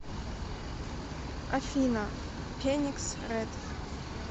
афина феникс рэд